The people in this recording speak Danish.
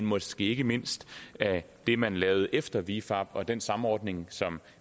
måske ikke mindst af det man lavede efter vifab og den samordning som